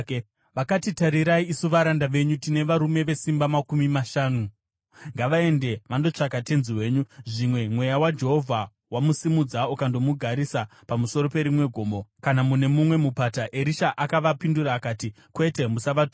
Vakati, “Tarirai, isu varanda venyu tine varume makumi mashanu vakasimba. Ngavaende vandotsvaka tenzi wenyu. Zvimwe Mweya waJehovha wamusimudza ukandomugarisa pamusoro perimwe gomo kana mune mumwe mupata.” Erisha akavapindura akati, “Kwete, musavatuma.”